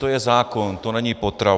To je zákon, to není potrava.